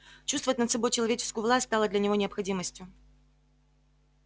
чувствовать над собой человеческую власть стало для него необходимостью